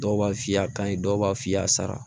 Dɔw b'a f'i ye a ka ɲi dɔw b'a f'i y'a sara